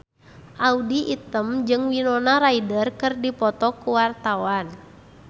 Audy Item jeung Winona Ryder keur dipoto ku wartawan